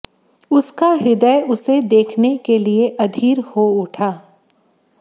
उसका हृदय उसे देखने के लिए अधीर हो उठा